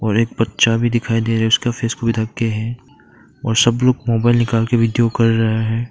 और एक बच्चा भी दिखाई दे उसका फेस पूरा ढक के है और सब लोग मोबाइल निकाल के वीडियो कर रहा हैं।